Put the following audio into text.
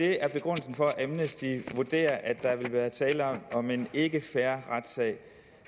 det er begrundelsen for at amnesty vurderer at der vil tale om en ikke fair retssag